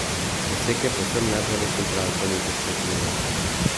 Poseg je povsem neboleč in traja okoli deset minut.